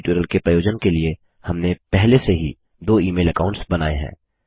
इस ट्यूटोरियल के प्रयोजन के लिए हमने पहले से ही दो ईमेल अकाऊंट्स बनाएँ हैं